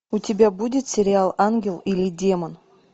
у тебя будет сериал ангел или демон